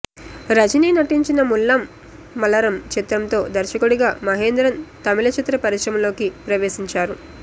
రజనీ నటించిన ముల్లమ్ మలరమ్ చిత్రంతో దర్శకుడిగా మహేంద్రన్ తమిళ చిత్ర పరిశ్రమలోకి ప్రవేశించారు